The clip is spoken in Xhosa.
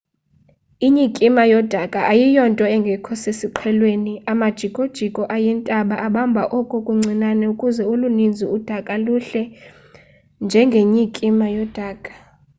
inyikima yodaka ayiyonto engekho sesiqhelweni amajikojiko ayintaba abamba oko kuncinane ukuze olunintsi udaka luhle njengenyikima yodaka